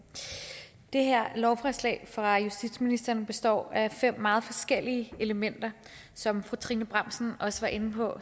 det her lovforslag fra justitsministeren består af fem meget forskellige elementer som fru trine bramsen også var inde på